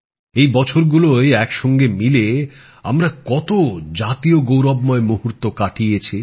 এই বছরগুলোয় এক সঙ্গে মিলে আমরা কতো জাতীয় গৌরবময় মুহুর্ত কাটিয়েছি